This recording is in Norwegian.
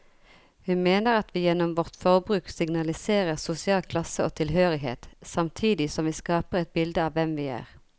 Hun mener at vi gjennom vårt forbruk signaliserer sosial klasse og tilhørighet, samtidig som vi skaper et bilde av hvem vi er.